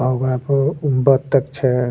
आ ओकरा पे उ बत्तख छै।